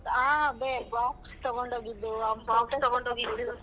ಆ ಬೇ box ತಗೊಂಡ್ ಹೋಗಿದ್ದು .